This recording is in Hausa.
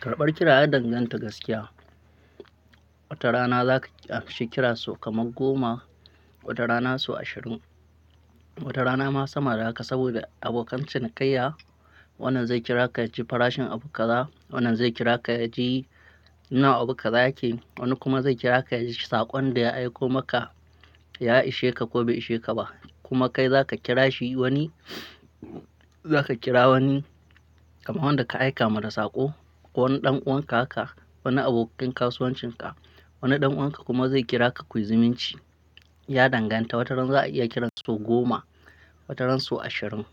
Karɓar kira ya danganta gaskiya. Wata rana za ka a she kira sau kamar goma, wata rana sau ashirin, wata rana ma sama da haka, saboda abokan cinikayya. Wannan zai kira ka yaji farashin abu ka za, wannan zai kira ka yaji ina abu kaza yake, wani kuma zai kira ka yaji saƙon da ya aiko maka, ya ishe ka ko bai ishe ka ba. Kuma kai zaka kira shi wani, zaka kira wani kamar wanda ka aika mada saƙo ko wani ɗan uwanka haka, wani abokin kasuwancinka. Wani ɗan uwanka kuma zai kira ka kuyi zumunci. Ya danganta, wataran za a iya kira sau goma, wataran sau ashirin.